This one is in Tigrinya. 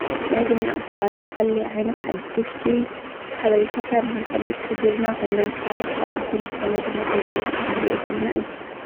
ናይ ዜና ኣውታራት ዝተፈላለዩ ዓይነታት ሓደሽቲ ሓበሬታታት ንኽንፈልጥ ዝሕግዙና ኾይኖሞ፤ ሓደ ካብኣቶም ዝኮነ ድማ ኣብ ምስለ እንሪኦ ዘለና እዩ።